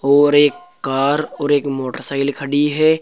और एक कार और एक मोटरसाइकल खड़ी है।